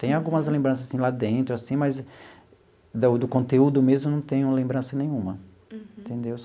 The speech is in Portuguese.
Tem algumas lembranças sim lá dentro assim, mas do do conteúdo mesmo não tenho lembrança nenhuma. Uhum. Entendeu?